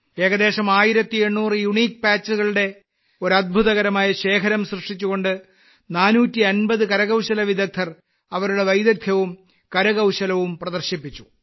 ഏകദേശം 1800 യൂണിക് പാച്ചുകളുടെ ഒരു അത്ഭുതകരമായ ശേഖരം സൃഷ്ടിച്ചുകൊണ്ട് 450 കരകൌശലവിദഗ്ധർ അവരുടെ വൈദഗ്ധ്യവും കരകൌശലവും പ്രദർശിപ്പിച്ചു